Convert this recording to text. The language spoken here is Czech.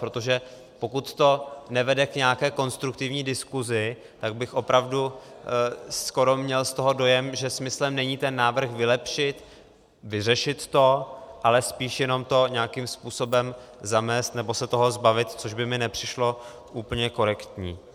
Protože pokud to nevede k nějaké konstruktivní diskuzi, tak bych opravdu skoro měl z toho dojem, že smyslem není ten návrh vylepšit, vyřešit to, ale spíš jenom to nějakým způsobem zamést, nebo se toho zbavit, což by mi nepřišlo úplně korektní.